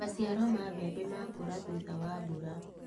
Maciaro ma mbembe makũra thutha wa mbura.